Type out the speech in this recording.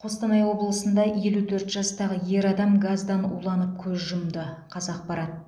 қостанай облысында елу төрт жастағы ер адам газдан уланып көз жұмды қазақпарат